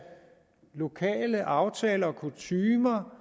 lokale aftaler og kutymer